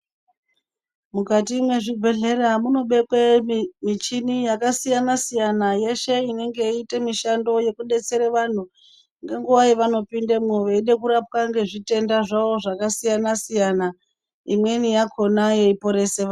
Mukati mezvibhedhlera munobekwa michini yakasiyana siyana yeshe inenge ichiitankushando wekudetsera vantu ngenguwa yavanopinda veiraoa matenda zvitenda zvacho zvakasiyana siyana imweni yakona yeiporesa vantu.